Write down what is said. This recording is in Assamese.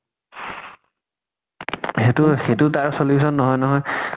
সেইটো সেইটো তাৰ solution নহয় নহয়।